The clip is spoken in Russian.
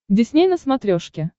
дисней на смотрешке